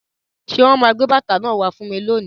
Ṣé wọn máa gbé bàtà náà wá fún mi lónìí?